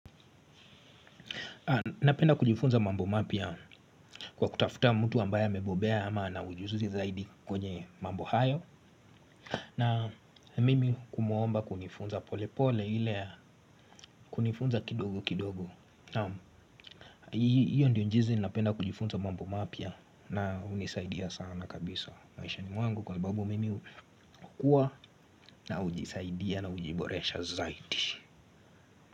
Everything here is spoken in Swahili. Napenda kujifunza mambo mapya kwa kutafuta mtu ambaya amebobea ama ana ujuzi zaidi kwenye mambo hayo na mimi kumuomba kunifunza pole pole ile ya kunifunza kidogo kidogo. Iyo ndiyo njizi napenda kujifunza mambo mapya na hunisaidia sana kabisa maishani mwangu kwa sababu mimi hukua na hujisaidia na ujiboresha zaidi.